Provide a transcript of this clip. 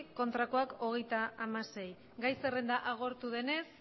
votos a favor treinta y seis votos en contra gai zerrenda agortu denez